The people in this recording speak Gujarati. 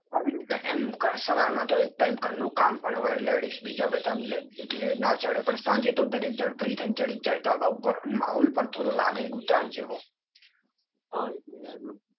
એમ સવારમાંતો ઘરનું કામ બી હોય. લેડીસ એટલે ના ચઢે. પણ સાંજે તો દરેક જાણ ફરી થઇ ને ચઢી જ જાય અને માહોલ પણ લાગે થોડોક ઉત્તરાયણ જેવો. હા એજ ને.